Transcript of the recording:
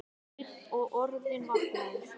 Sveinn og orðinn vankaður.